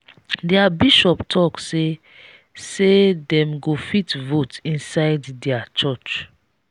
their bishop talk say say dem go fit vote inside their church